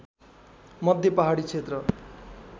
मध्य पहाडी क्षेत्र